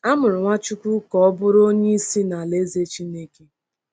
A mụrụ Nwachukwu ka ọ bụrụ Onye Isi n’Alaeze Chineke.